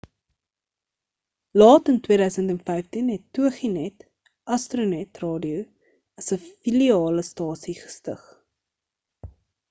laat in 2015 het toginet astronet radio as 'n filiale stasie gestig